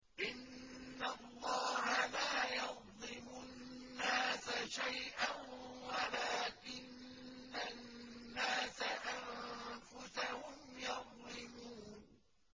إِنَّ اللَّهَ لَا يَظْلِمُ النَّاسَ شَيْئًا وَلَٰكِنَّ النَّاسَ أَنفُسَهُمْ يَظْلِمُونَ